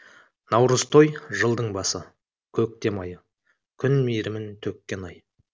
наурызтой жылдың басы көктем айы күн мейірімін төккен ай